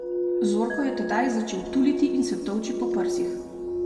Zorko je tedaj začel tuliti in se tolči po prsih.